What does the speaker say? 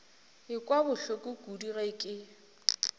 ekwa bohloko kudu ge ke